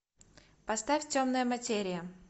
поставь темная материя